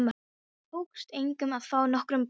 Það tókst engum að fá nokkurn botn í.